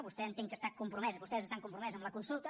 vostè entenc que està compromès vostès estan compromesos amb la consulta